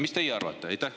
Mis teie arvate?